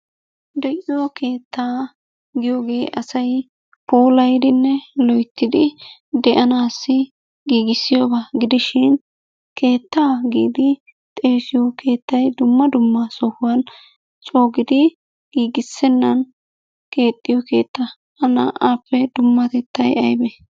De'iyo keettaa giyogee asay puulayddinne de'anaassi giggissiyogaa gidishin keettaa giidi xeessiyo keettay dumma dumma sohuwan coo giidi giggissennan keexxiyo keettaa hageetuppe dummatettay aybee?